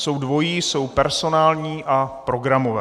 Jsou dvojí, jsou personální a programové.